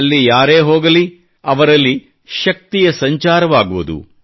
ಅಲ್ಲಿ ಯಾರೇ ಹೋಗಲಿ ಅವರಲ್ಲಿ ಶಕ್ತಿಯ ಸಂಚಾರವಾಗುವುದು